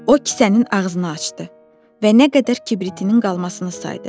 O kisənin ağzını açdı və nə qədər kibritinin qalmasını saydı.